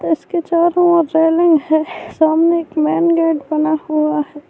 اس کے چاروں اور ریلنگ ہیں سامنے ایک مین گیٹ بنا ہوا ہے-